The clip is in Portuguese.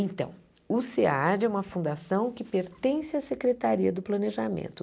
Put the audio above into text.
Então, o SEAD é uma fundação que pertence à Secretaria do Planejamento.